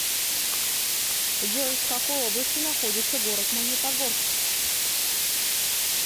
джой в какой области находится город магнитогорск